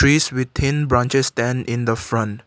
peace with thin branches than in the front.